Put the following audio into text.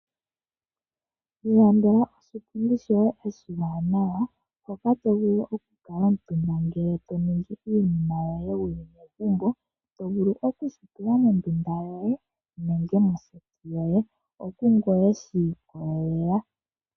Ilandela oshipundi shoye oshiwanawa hoka tovulu okukala omutumba ngele toningi iinima yoye wuli megumbo. Otovulu okushi tula mondunda yoye, nenge moseti yoye. Okungoye shi ikolelela.